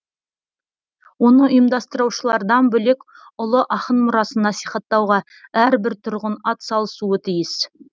оны ұйымдастырушылардан бөлек ұлы ақын мұрасын насихаттауға әрбір тұрғын атсалысуы тиіс